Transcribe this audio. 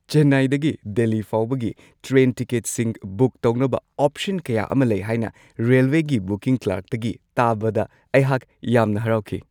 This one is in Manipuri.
ꯆꯦꯟꯅꯥꯏꯗꯒꯤ ꯗꯦꯜꯂꯤ ꯐꯥꯎꯕꯒꯤ ꯇ꯭ꯔꯦꯟ ꯇꯤꯀꯦꯠꯁꯤꯡ ꯕꯨꯛ ꯇꯧꯅꯕ ꯑꯣꯞꯁꯟ ꯀꯌꯥ ꯑꯃ ꯂꯩ ꯍꯥꯏꯅ ꯔꯦꯜꯋꯦꯒꯤ ꯕꯨꯀꯤꯡ ꯀ꯭ꯂꯔꯛꯇꯒꯤ ꯇꯥꯕꯗ ꯑꯩꯍꯥꯛ ꯌꯥꯝꯅ ꯍꯔꯥꯎꯈꯤ ꯫